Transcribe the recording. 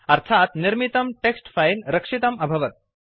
अर्थात् निर्मितं text file रक्षितम् अभवत्